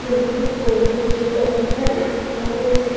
ৰুমটোত বহুতো গেট লগাই থোৱা দেখা পোৱা গৈছে।